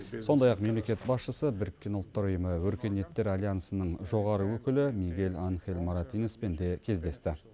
сондай ақ мемлекет басшысы біріккен ұлттар ұйымы өркениеттер альянсының жоғары өкілі мигель анхель моратиноспен де кездесті